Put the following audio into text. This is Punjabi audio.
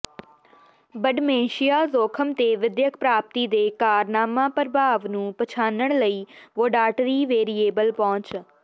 ਬਡਮੈਂਸ਼ੀਆ ਜੋਖਮ ਤੇ ਵਿਦਿਅਕ ਪ੍ਰਾਪਤੀ ਦੇ ਕਾਰਨਾਮਾ ਪ੍ਰਭਾਵ ਨੂੰ ਪਛਾਣਨ ਲਈ ਵੋਡਾਟਰੀ ਵੇਰੀਏਬਲ ਪਹੁੰਚ